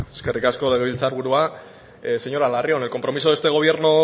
zurea da hitza eskerrik asko legebiltzar burua señora larrion el compromiso de este gobierno